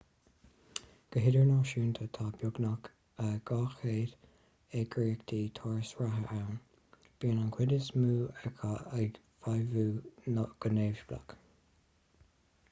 go hidirnáisiúnta tá beagnach 200 eagraíocht turas reatha ann bíonn an chuid is mó acu ag feidhmiú go neamhspleách